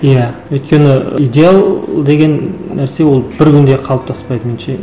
иә өйткені идеал деген нәрсе ол бір күнде қалыптаспайды меңінше